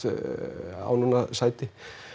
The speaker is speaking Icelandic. á núna sæti